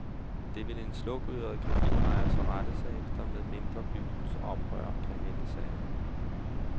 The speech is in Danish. Det vil en slukøret caféejer så rette sig efter, medmindre byens oprør kan vende sagen.